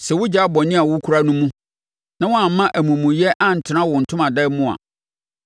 sɛ wogyaa bɔne a wokura no mu na woamma amumuyɛ antena wo ntomadan mu a,